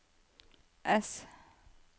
ess